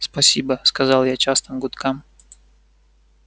спасибо сказал я частым гудкам